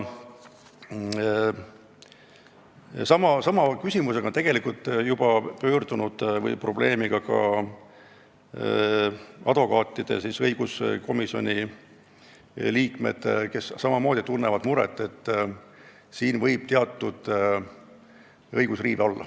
Sama probleemiga on tegelikult juba pöördunud õiguskomisjoni ka advokatuuri liikmed, kes samamoodi tunnevad muret, et siin võib olla teatud õigusriive.